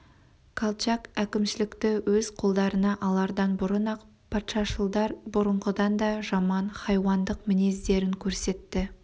колчак әкімшілікті өз қолдарына алардан бұрын-ақ патшашылдар бұрынғыдан да жаман хайуандық мінездерін көрсетті